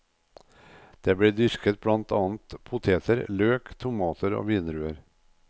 Det blir dyrket blant annet poteter, løk, tomater og vindruer.